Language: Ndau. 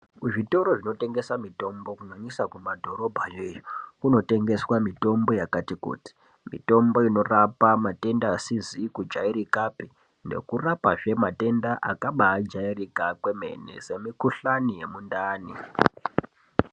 Zvitoro zvinotengese mitombo kunyanyisa kumadhorobhayo iyo, kunotengeswa mitombo yakati kuti. Mitombo inorapa matenda asizi kujairikapi nekurapazve matenda akabaajairika kwemene semikuhlani yemundani.